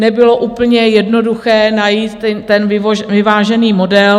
Nebylo úplně jednoduché najít ten vyvážený model.